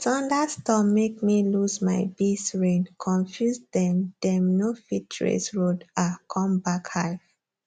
thunderstorm make me lose my beesrain confuse dem dem no fit trace road um come back hive